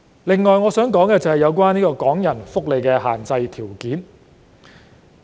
此外，我想談談有關港人福利的限制條件。